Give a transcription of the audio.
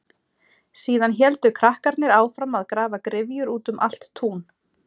Síðan héldu krakkarnir áfram að grafa gryfjur út um allt tún.